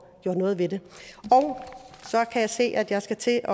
gjort noget ved det så kan jeg se at jeg skal til at